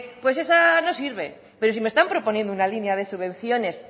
pues esa no sirve pero si me están proponiendo una línea de subvenciones